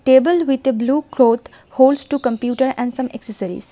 Table with a blue cloth holds two computer and some accessories.